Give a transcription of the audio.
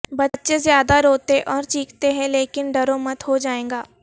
بچے زیادہ روتے اور چیختے ہیں لیکن ڈرو مت ہو جائے گا